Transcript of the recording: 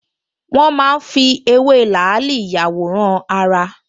Wọ́n máa ń fi ewé làálì ìyàwòrán-ara